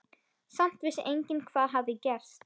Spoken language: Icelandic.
Samt vissi enginn hvað hafði gerst.